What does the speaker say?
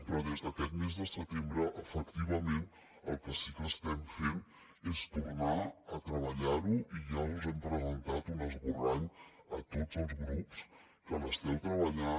però des d’aquest mes de setembre efectivament el que sí que estem fent és tornar a treballar ho i ja us hem presentat un esborrany a tots els grups que l’esteu treballant